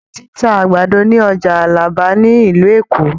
Ǹjẹ́ wọ́n ti ń ta àgbàdo ni ọjà Alábà ni ìlú Èkó.?